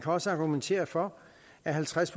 også argumentere for at halvtreds